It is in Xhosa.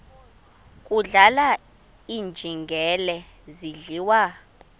kudlala iinjengele zidliwa